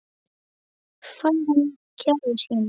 Færa mér gjafir sínar.